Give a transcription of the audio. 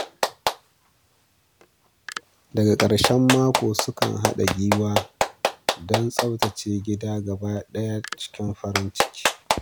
Daga karshen mako, sukan haɗa gwiwa don tsaftace gidan gaba ɗaya cikin farin ciki.